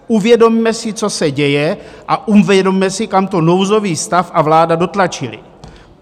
Uvědomme si, co se děje, a uvědomme si, kam to nouzový stav a vláda dotlačily.